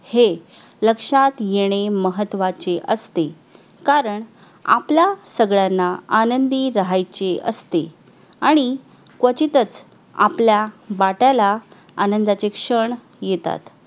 हे लक्षात येणे महत्त्वाचे असते कारण आपल्या सगळ्यांना आनंदी राहायचे असते आणि क्वचितच आपल्या वाट्याला आनंदाचे क्षण येतात